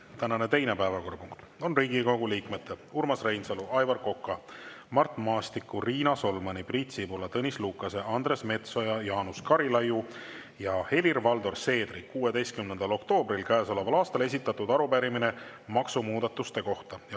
Tänane teine päevakorrapunkt on Riigikogu liikmete Urmas Reinsalu, Aivar Koka, Mart Maastiku, Riina Solmani, Priit Sibula, Tõnis Lukase, Andres Metsoja, Jaanus Karilaiu ja Helir-Valdor Seedri 16. oktoobril käesoleval aastal esitatud arupärimine maksumuudatuste kohta.